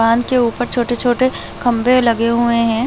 बांध के ऊपर छोटे-छोटे खंबे लगे हुए है।